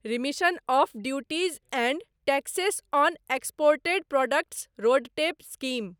remission of duties and taxes on exported products RoDTEP scheme